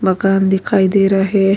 مکان دکھائی دے رہا ہے۔